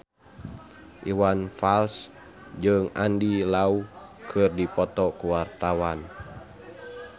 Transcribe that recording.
Iwan Fals jeung Andy Lau keur dipoto ku wartawan